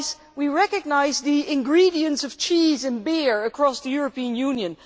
We recognise the ingredients of cheese and beer across the European Union.